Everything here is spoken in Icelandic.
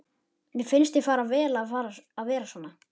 Mér finnst þér fara vel að vera svona.